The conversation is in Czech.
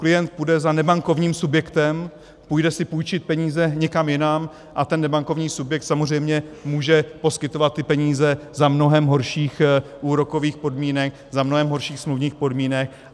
Klient půjde za nebankovním subjektem, půjde si půjčit peníze někam jinam, a ten nebankovní subjekt samozřejmě může poskytovat ty peníze za mnohem horších úrokových podmínek, za mnohem horších smluvních podmínek.